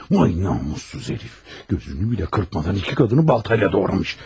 Voy namussuz herif, gözünü bilə qırpmadan iki qadını baltayla doğramış.